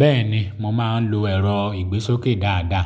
Bẹ́ẹ̀ni mo máa ń lo ẹ̀rọ ìgbésókè dáadáa.